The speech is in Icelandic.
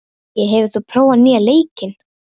Gaui, hefur þú prófað nýja leikinn?